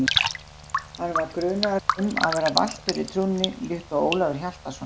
Hann var grunaður um að vera valtur í trúnni líkt og Ólafur Hjaltason.